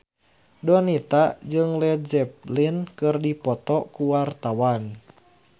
Donita jeung Led Zeppelin keur dipoto ku wartawan